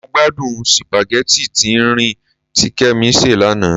Mo gbádùn sípágì tín-ín-rín tí Kẹ́mi sè lánàá.